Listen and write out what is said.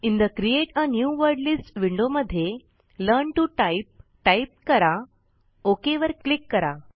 in the create a new word list window मध्ये learn to type type करा okay वर click करा